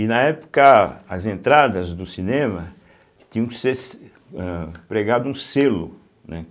E na época, as entradas do cinema tinham que ser se ã pregado um selo, né?